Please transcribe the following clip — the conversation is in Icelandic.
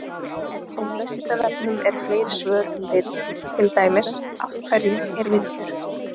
Á Vísindavefnum eru fleiri svör um vind, til dæmis: Af hverju er vindur?